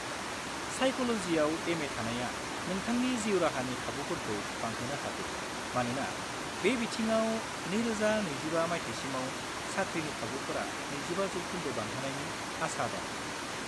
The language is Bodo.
Psychology आव M.A. थानाया नोंथांनि जिउ राहानि खाबुफोरखौ बांहोनो हागौ मानोना बे बिथिङाव 2025 माथाइसिमाव साख्रिनि खाबुफोरा 25 जौखोन्दो बांनायनि आसा दं।